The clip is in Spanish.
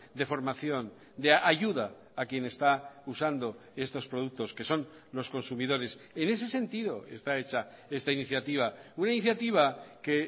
de formación de ayuda a quien está usando estos productos que son los consumidores en ese sentido está hecha esta iniciativa una iniciativa que